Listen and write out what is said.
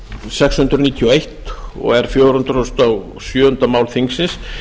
sex hundruð níutíu og eins og er fjögur hundruð og sjöunda mál þingsins